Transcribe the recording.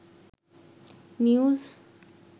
news